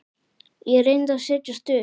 Ég reyndi að setjast upp.